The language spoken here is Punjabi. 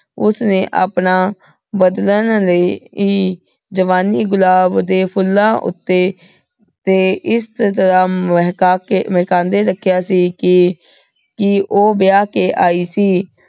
ਓਸਨੇ ਆਪਣਾ ਜਵਾਨੀ ਗੁਲਾਬ ਦੇ ਫੁਲਾਂ ਓਤੇ ਤੇ ਏਸ ਤਰਹ ਮਹਕਾਕੇ ਮਹਕਾਂਦੇ ਰੱਖਿਆ ਸੀ ਕੇ ਕੀ ਓਹ ਵਿਯਾਹ ਕੇ ਆਈ ਸੀ